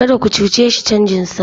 Kada ku cuce shi canjinsa!